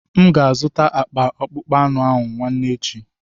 M ga-azụta akpa akpụkpọ anụ nwanne echi.